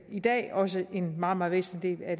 i dag også en meget meget væsentlig del af